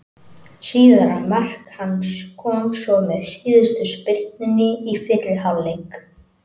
Síðara mark hans kom svo með síðustu spyrnunni í fyrri hálfleik.